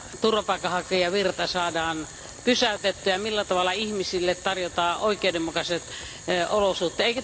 turvapaikanhakijavirta saadaan pysäytettyä ja millä tavalla ihmisille tarjotaan oikeudenmukaiset olosuhteet.